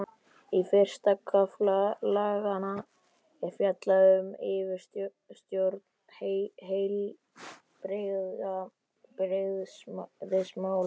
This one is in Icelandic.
Í fyrsta kafla laganna er fjallað um yfirstjórn heilbrigðismála.